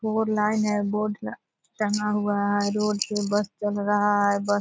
Four line है। Board टंगा हुआ है। रोड पे बस चल रहा है। बस --